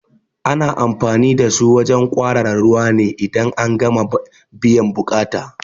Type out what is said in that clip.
Ana anfani da su wajen kwarara ruwa ne idan an gama biyan buƙata